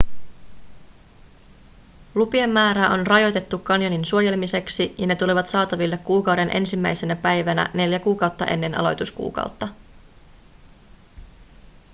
lupien määrää on rajoitettu kanjonin suojelemiseksi ja ne tulevat saataville kuukauden ensimmäisenä päivänä neljä kuukautta ennen aloituskuukautta